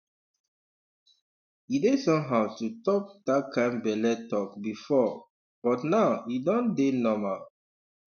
um e dey somehow to talk that kind belle talk before but now e don dey normal um